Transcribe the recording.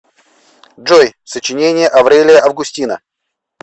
джой сочинение аврелия августина